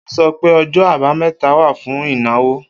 O sọ pé ọjọ abameta wa fún ìnáwó.